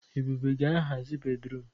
Ebube ga-ahazi bédrụum.